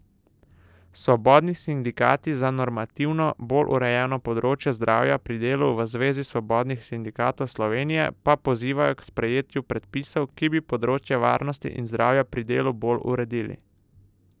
Svobodni sindikati za normativno bolj urejeno področje zdravja pri delu V Zvezi svobodnih sindikatov Slovenije pa pozivajo k sprejetju predpisov, ki bi področje varnosti in zdravja pri delu bolj uredili.